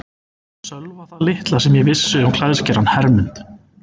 Sölva það litla sem ég vissi um klæðskerann Hermund